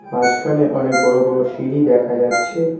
মাঝখানে অনেক বড় বড় সিঁড়ি দেখা যাচ্ছে।